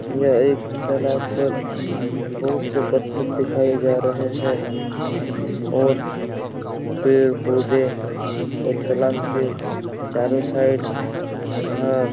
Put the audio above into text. यह एक तालाब पर भी बहुत से पत्थर दिखाए जा रहे है और पेड़-पौधे और तालाब पे चारों साइड ग्रास --